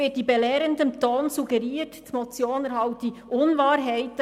In belehrendem Ton wird suggeriert, die Motion enthalte Unwahrheiten.